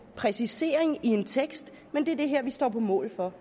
præcisering i en tekst men det er det her vi står på mål for